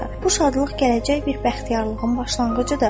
Bu şadlıq gələcək bir bəxtiyarlığın başlanğıcıdır.